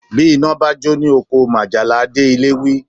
Bí iná bá jó ní oko, majala a dé ilé wí